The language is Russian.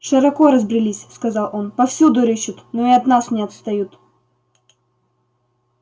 широко разбрелись сказал он повсюду рыщут но и от нас не отстают